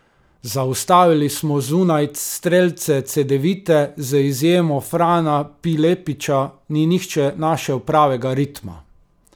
Zaustavili smo zunanje strelce Cedevite, z izjemo Frana Pilepića ni nihče našel pravega ritma.